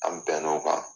An bɛn n'o kan